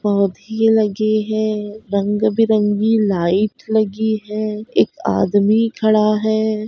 पौधे लगे हैं रंग- बिरंगी लाइट लगी है। एक आदमी खड़ा है।